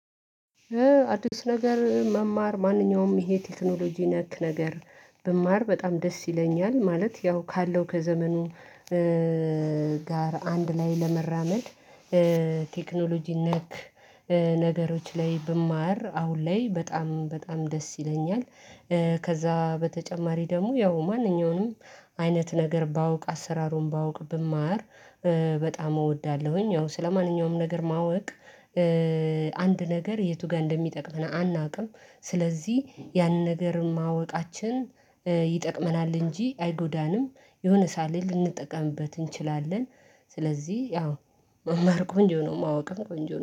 አዲስ ነገር መማር ማንኛውም ይሄ ቴክኖሎጂ ነክ ነገር ብማር በጣም ደስ ይለኛል ማለት ያው ካለው ከዘመኑ ጋር አንድ ላይ ለመራመድ ቴክኖሎጂ ነክ ነገሮች ላይ ብማር አሁን ላይ በጣም በጣም ደስ ይለኛል። ከዛ በተጨማሪ ደግሞ ያው ማንኛውንም አይነት ነገር ባውቅ አሰራሩን ባውቅ ብማር በጣም እወዳለሁኝ። ያው ስለማንኛውም ነገር ማወቅ አንድ ነገር የቱ ጋር እንደሚጠቅመን አናውቅም ስለዚህ ያንን ነገር ማወቃችን ይጠቅመናል እንጂ አይጎዳንም። የሆነ ሰዓት ልንጠቀምበት እንችላለን። ስለዚህ ያው መማር ቆንጆ ነው ማወቅም ቆንጆ ነው